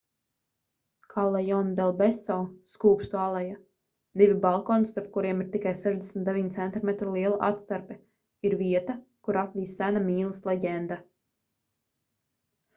callejon del beso skūpstu aleja. divi balkoni starp kuriem ir tikai 69 centimetru liela atstarpe ir vieta kuru apvij sena mīlas leģenda